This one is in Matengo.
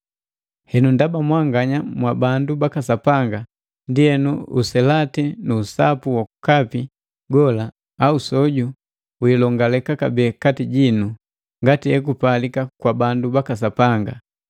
Henu ndaba mwanganya mwa bandu baka Sapanga, ndienu uselati nu usapu wokapi gola au soju wilongaleka kabee kati jinu ngati ekupalika kwa bandu baka Sapanga.